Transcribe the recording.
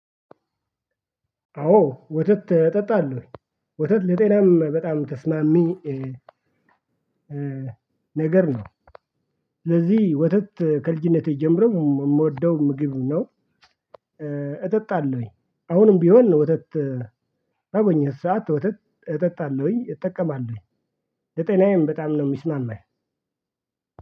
አዎ ወተት እጠጣለሁ። ወተት ለጤናም በጣም ተስማሚ ነገር ነው። ስለዚህ ወተት ከልጅነቴ ጀምሮ የምወደው ምግብ ነው። እጠጣለሁኝ አሁንም ቢሆን ወተት በተገኘ ሰዓት ወተት እጠጣለሁኝ። እጠቀማለሁኝ። ለጤናዬም በጣም ነው የሚስማማኝ።